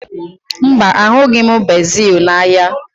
Mba, ahụghị m bezil n'ahịa